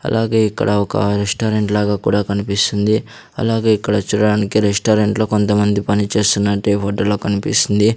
అలాగే ఇక్కడ ఒక రెస్టారెంట్ లాగా కూడా కనిపిస్తుంది అలాగే ఇక్కడ చూడడానికి రెస్టారెంట్ లో కొంతమంది పనిచేస్తున్నట్టే ఈ ఫోటో లో కన్పిస్తుంది.